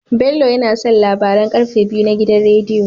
Bello yAna son labaran karfe biyu na gidan rediyo